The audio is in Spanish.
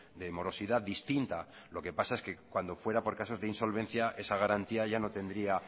de morosidad distinta lo que pasa es que cuando fuera por casos de insolvencia esa garantía ya no tendría